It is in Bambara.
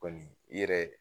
Kɔni u yɛrɛ